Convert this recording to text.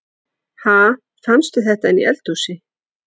Ha! Fannstu þetta inni í eldhúsi?